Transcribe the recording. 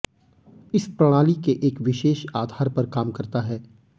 इस प्रणाली के एक विशेष आधार पर काम करता है